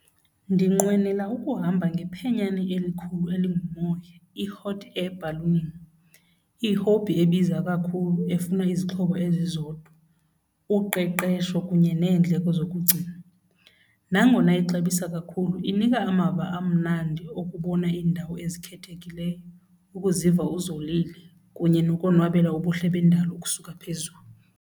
Ndinqwenela ukuhamba ngephenyane elikhukhumele ngumoya, i-hot air balloon, i-hobby ebiza kakhulu efuna izixhobo ezizodwa, uqeqesho kunye nendlela zokugcina. Nangona ixabisa kakhulu inika amava amnandi okubona indawo ezikhethekileyo, ukuziva uzolile kunye nokonwabela ubuhle bendalo ukusuka phezulu.